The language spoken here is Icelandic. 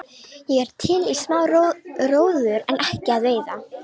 Ég er til í smá róður en ekki að veiða.